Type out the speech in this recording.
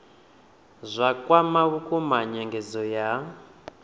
zwa kwama vhukuma nyengedzo ya